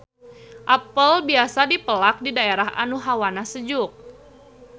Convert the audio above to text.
Apel biasa dipelak di daerah anu hawana sejuk